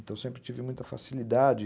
Então sempre tive muita facilidade.